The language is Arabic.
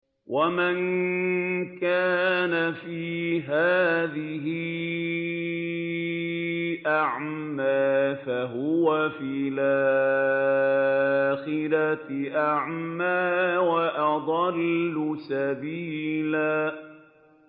وَمَن كَانَ فِي هَٰذِهِ أَعْمَىٰ فَهُوَ فِي الْآخِرَةِ أَعْمَىٰ وَأَضَلُّ سَبِيلًا